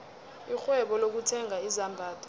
irhwebo lokuthenga izambatho